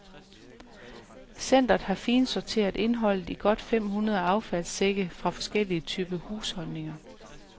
Centret har finsorteret indholdet i godt fem hundrede affaldssække fra forskellige typer husholdninger.